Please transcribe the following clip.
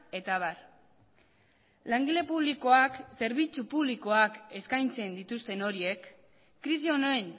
eta abar langile publikoak zerbitzu publikoak eskaintzen dituzten horiek krisi honen